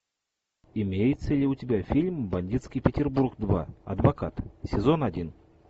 имеется ли у тебя фильм бандитский петербург два адвокат сезон один